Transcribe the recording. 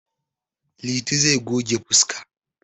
Liti zai goge fuska.